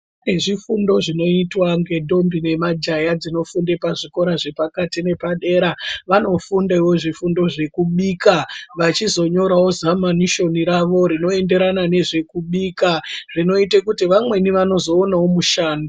Zvifundo zvinoitwa ngentombi nemajaya zvinofunda pazvikora zvepakati nepadera vanofundawo zvifundo zvekubika vanonyorawo zamanisheni ravo rinoenderana nezvekubika zvinota kuti vamweni vanozoonawo musha.